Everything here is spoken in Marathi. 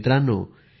मित्रांनो